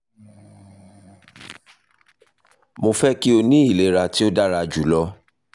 mo fẹ ki o ni ilera ti o dara julọ